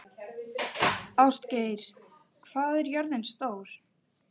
Ástgeir, hvað er jörðin stór?